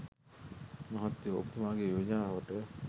මහත්තයෝ ඔබතුමාගේ යෝජනාවට